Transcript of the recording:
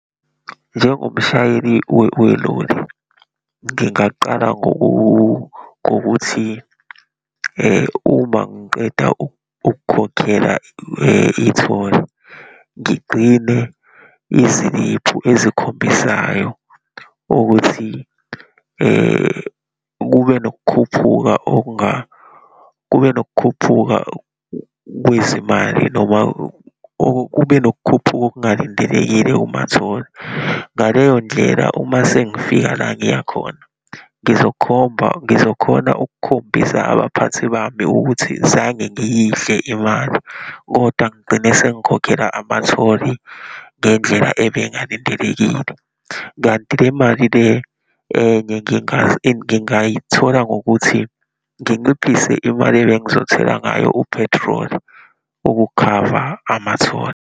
Njengomshayeli weloli, ngingaqala ngokuthi uma ngiqeda ukukhokhela itholi, ngigcine iziliphu ezikhombisayo ukuthi kube nokukhuphuka kube nokukhuphuka kwezimali, noma kube nokukhuphuka okungalindelekile kumatholi. Ngaleyondlela, uma sengifika la ngiya khona ngizokhomba, ngizokhona ukukhombisa abaphathi bami ukuthi zange ngiyidle imali, kodwa ngigcine sengikhokhela amatholi ngendlela ebengalindelekile. Kanti le mali le enye ngingayithola ngokuthi nginciphise imali ebengizothela ngayo uphethroli, ukukhava amatholi.